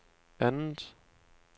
andet